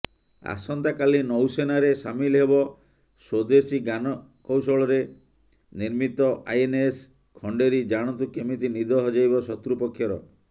ଆସନ୍ତାକାଲି ନୌସେନାରେ ସାମିଲ ହେବ ସ୍ବଦେଶୀ ଜ୍ଞାନକୌଶଳରେ ନିର୍ମିତ ଆଇଏନଏସ ଖଣ୍ଡେରୀ ଜାଣନ୍ତୁ କେମିତି ନିଦ ହଜେଇବ ଶତୃପକ୍ଷର